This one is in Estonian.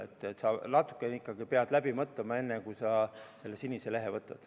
Ehk inimene peab ikkagi natukene asjad läbi mõtlema, enne kui ta selle sinise lehe võtab.